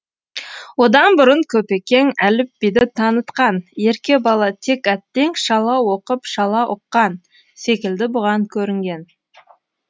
одан бұрын көпекеңәліпбиді танытқанерке бала тек әттең шала оқып шала ұққансекілді бұған көрінген